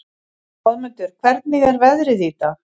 Goðmundur, hvernig er veðrið í dag?